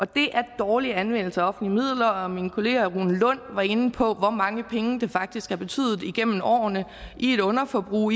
det er en dårlig anvendelse af offentlige midler min kollega herre rune lund var inde på hvor mange penge det faktisk har betydet igennem årene i et underforbrug